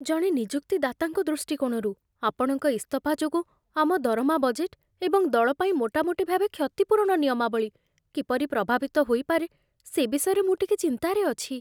ଜଣେ ନିଯୁକ୍ତିଦାତାଙ୍କ ଦୃଷ୍ଟିକୋଣରୁ, ଆପଣଙ୍କ ଇସ୍ତଫା ଯୋଗୁଁ ଆମ ଦରମା ବଜେଟ୍ ଏବଂ ଦଳ ପାଇଁ ମୋଟାମୋଟି ଭାବେ କ୍ଷତିପୂରଣ ନିୟମାବଳୀ କିପରି ପ୍ରଭାବିତ ହୋଇପାରେ, ସେ ବିଷୟରେ ମୁଁ ଟିକିଏ ଚିନ୍ତାରେ ଅଛି।